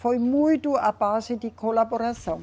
Foi muito a base de colaboração.